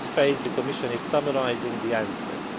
In this phase the Commission is summarising the answers.